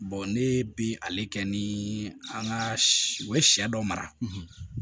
ne bi ale kɛ ni an ka u ye sɛ dɔ mara